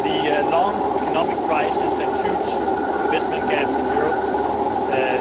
The long economic crisis and huge investment gap in Europe